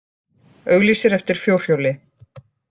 Auglýsir eftir fjórhjóli